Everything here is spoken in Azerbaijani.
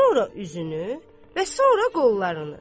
Sonra üzünü və sonra qollarını.